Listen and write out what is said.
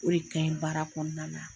O de ka ɲi baara kɔnɔna na.